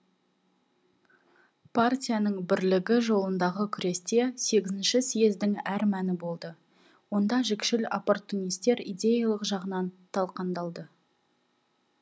партияның бірлігі жолындағы күресте сегізінші съездің әр мәні болды онда жікшіл оппортунистер идеялық жағынан талқандалды